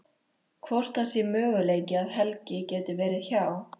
Hvort það sé möguleiki að Helgi geti verið hjá.